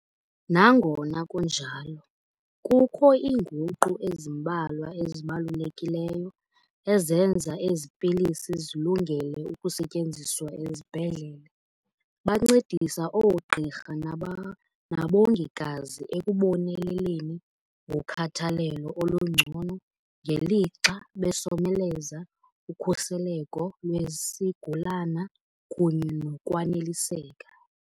Nangona kunjalo, kukho iinguqu ezimbalwa ezibalulekileyo ezenza ezi pilisi zilungele ukusetyenziswa ezibhedlele. Bancedisa oogqirha nabongikazi ekuboneleleni ngokhathalelo olungcono ngelixa besomeleza ukhuseleko lwesigulana kunye nokwaneliseka.